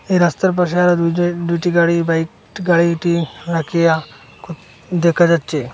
এই রাস্তার পাশে আরো দুইটে দুইটি গাড়ি বাইক গাড়িটি রাখিয়া ক দেখা যাচ্ছে।